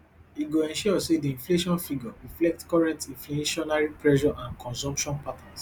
e go ensure say di inflation figure reflect current inflationary pressure and consumption patterns